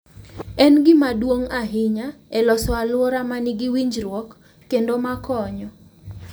En gima duong’ ahinya e loso alwora ma nigi winjruok kendo ma konyo